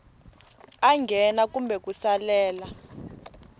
a nghena kumbe ku salela